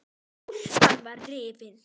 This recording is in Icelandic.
Úlpan var rifin.